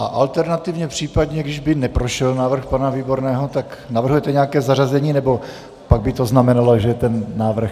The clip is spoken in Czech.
A alternativně případně, když by neprošel návrh pana Výborného, tak navrhujete nějaké zařazení, nebo pak by to znamenalo, že ten návrh...